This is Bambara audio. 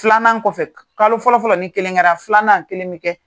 Filanan kɔfɛ, kalo fɔlɔ fɔlɔ ni kelen kɛra, filanan kelen bɛ kɛ.